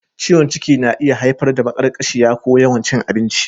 Ciwon ciki na iya haifar da maƙarƙashiya ko yawan cin abinci.